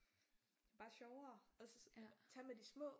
Det bare sjovere tage med de små